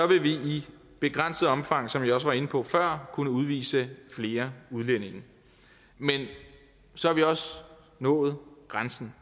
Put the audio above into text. vil vi i begrænset omfang som jeg også var inde på før kunne udvise flere udlændinge men så har vi også nået grænsen